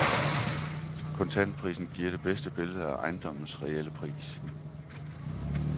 Kontantprisen giver det bedste billede af ejendommens reelle pris.